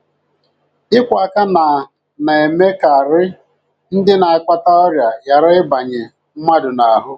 Ịkwọ aka na na - eme ka arị ndị na - akpata ọrịa ghara ịbanye mmadụ n’ahụ́.